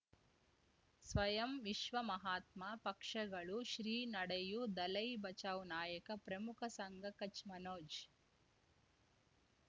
ಸ್ವಯಂ ವಿಶ್ವ ಮಹಾತ್ಮ ಪಕ್ಷಗಳು ಶ್ರೀ ನಡೆಯೂ ದಲೈ ಬಚೌ ನಾಯಕ ಪ್ರಮುಖ ಸಂಘ ಕಚ್ ಮನೋಜ್